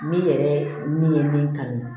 Ne yɛrɛ ne ye min kalan